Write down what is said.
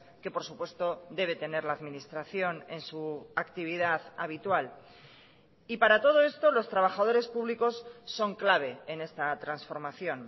que por supuesto debe tener la administración en su actividad habitual y para todo esto los trabajadores públicos son clave en esta transformación